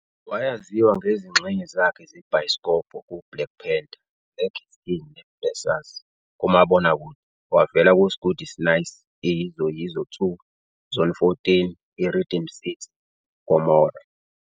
Wayaziwa ngezingxenye zakhe zebhayisikobho ku"Black Panther", Black Is King ne-Blessers. kumabokakude, wavela ku-S'gudi S'nyasi, "I-Yizo Yizo 2", Zone 14, i-Rhythm City neGomorrah.